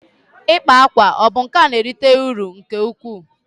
ikpa akwa ọ bụ nka na-erite uru nke ukwuu?